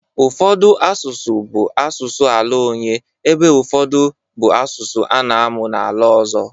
Ụfọdụ asụsụ bụ asụsụ ala onye ebe ụfọdụ bụ asụsụ a na-amụ n'ala ọzọ.